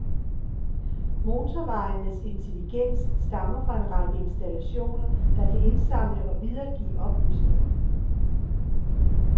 Motorvejenes intelligens stammer fra en række installationer, der kan indsamle og videregive oplysninger.